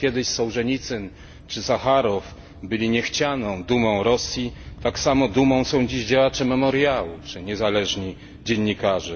Tak jak kiedyś Sołżenicyn czy Sacharow byli niechcianą dumą Rosji, tak samo dzisiaj dumą są działacze Memoriału czy niezależni dziennikarze.